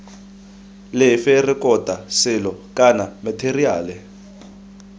lefe rekota selo kana matheriale